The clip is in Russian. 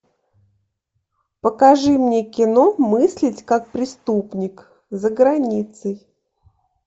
покажи мне кино мыслить как преступник за границей